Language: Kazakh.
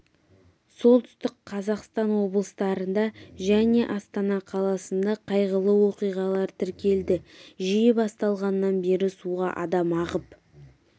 солтүстік қазақстан облыстарында және астана қаласында қайғылы оқиғалар тіркелді жыл басталғаннан бері суға адам ағып